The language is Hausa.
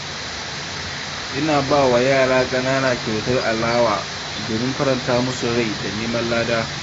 Ina ba wa yara ƙanana kyautar alewa domin faranta musu rai da neman lada.